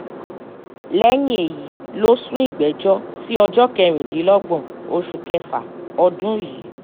lẹ́yìn èyí ló sún ìgbẹ́jọ́ sí ọjọ́ kẹrìndínlọ́gbọ̀n oṣù kẹfà ọdún yìí